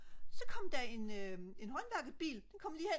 så kom der en håndværkerbil den kom lige hen